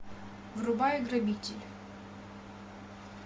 врубай грабитель